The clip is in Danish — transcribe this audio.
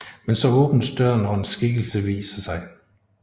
Men så åbnes døren og en skikkelse viser sig